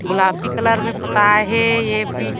गुलापी colour में पोताई हे ए बी --